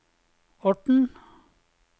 Orten